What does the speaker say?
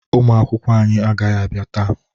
Ụmụakwụkwọ anyị agaghị abịa taa